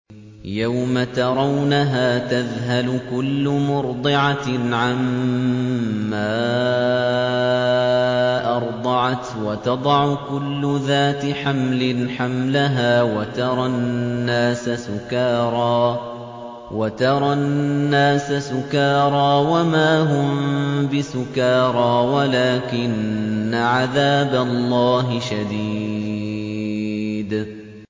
يَوْمَ تَرَوْنَهَا تَذْهَلُ كُلُّ مُرْضِعَةٍ عَمَّا أَرْضَعَتْ وَتَضَعُ كُلُّ ذَاتِ حَمْلٍ حَمْلَهَا وَتَرَى النَّاسَ سُكَارَىٰ وَمَا هُم بِسُكَارَىٰ وَلَٰكِنَّ عَذَابَ اللَّهِ شَدِيدٌ